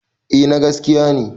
A na gaskiya ne